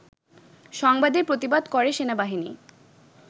সংবাদের প্রতিবাদ করে সেনাবাহিনী